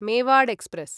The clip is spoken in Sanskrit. मेवाड़ एक्स्प्रेस्